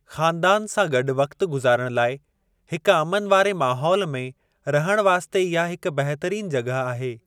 ख़ानदानु सां गॾु वक़्तु गुज़ारणु लाइ हिक अमन वारे माहौल में रहणु वास्ते इहा हिक बहितरीन जॻहि आहे।